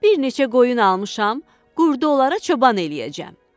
Bir neçə qoyun almışam, qurdu onlara çoban eləyəcəm.